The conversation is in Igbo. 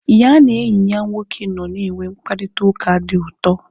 Ya na enyi ya nwoke nọ na enwe mkparịta ụka dị ụtọ